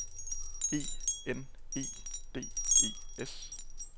E N E D E S